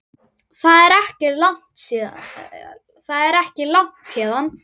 Það er ekki langt héðan.